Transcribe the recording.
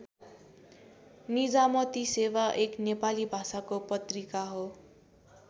निजामती सेवा एक नेपाली भाषाको पत्रिका हो।